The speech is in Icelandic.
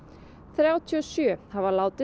þrjátíu og sjö hafa látist